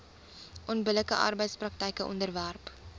onbillike arbeidspraktyke onderwerp